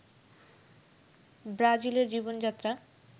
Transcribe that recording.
ব্রাজিলের জীবন-যাত্রা